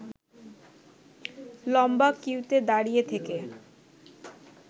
লম্বা কিউতে দাঁড়িয়ে থেকে